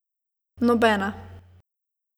Nobena.